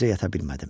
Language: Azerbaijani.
Gecə yata bilmədim.